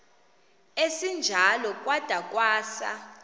esinjalo kwada kwasa